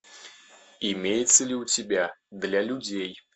имеется ли у тебя для людей